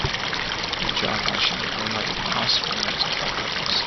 hijab as she remember di last moments of her brothers